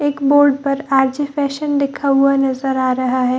एक बोर्ड पर R J. Fashion लिखा हुआ नज़र आ रहा है।